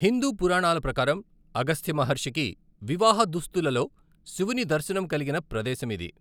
హిందూ పురాణాల ప్రకారం అగస్త్య మహర్షికి వివాహ దుస్తులలో శివుని దర్శనం కలిగిన ప్రదేశం ఇది.